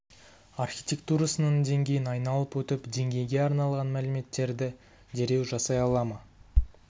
архитектурасының деңгейін айналып өтіп деңгейге арналған мәліметтерді дереу жасай ала ма